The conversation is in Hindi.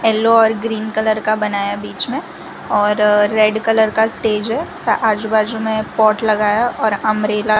येलो और ग्रीन कलर बनाया बीच में और रेड कलर का स्टेज है सा आजू-बाजू में पॉट लगा है और अंब्रेला --